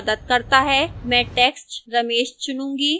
मैं text ramesh चुनूंगी